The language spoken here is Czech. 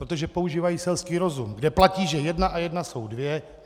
Protože používají selský rozum, kde platí, že jedna a jedna jsou dvě.